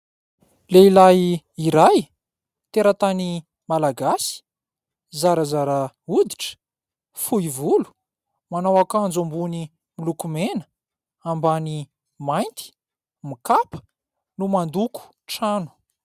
Lehilahy iray, teratany Malagasy, zarazara oditra, fohy volo, manao ankanjo ambony miloko mena, ambany mainty, mikapa, no mandoko trano.